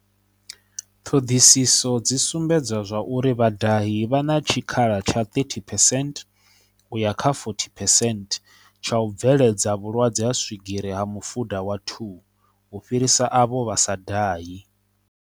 Ṱhoḓisiso dzi sumbedza zwa uri vhadahi vha na tshikhala tsha 30 percent u ya kha 40 percent tsha u bveledza vhu lwadze ha swigiri ha mu fuda wa 2 u fhirisa avho vha sa dahi.